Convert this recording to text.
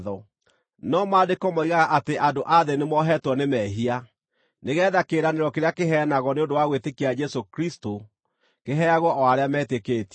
No Maandĩko moigaga atĩ andũ a thĩ nĩ mohetwo nĩ mehia, nĩgeetha kĩĩranĩro kĩrĩa kĩheanagwo nĩ ũndũ wa gwĩtĩkia Jesũ Kristũ kĩheagwo o arĩa metĩkĩtie.